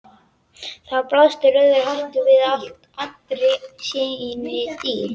Þar blasti rauði hatturinn við í allri sinni dýrð.